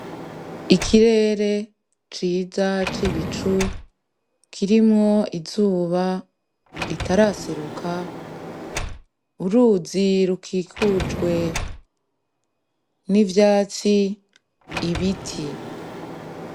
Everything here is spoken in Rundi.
Ikirere ciza c'ibicu kirimwo izuba ritaraseruka uruzi rukikujwe n'ivyatsi ibiti.